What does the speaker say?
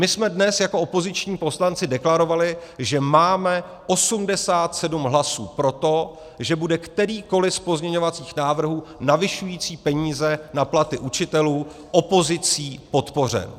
My jsme dnes jako opoziční poslanci deklarovali, že máme 87 hlasů pro to, že bude kterýkoliv z pozměňovacích návrhů navyšující peníze na platy učitelů opozicí podpořen.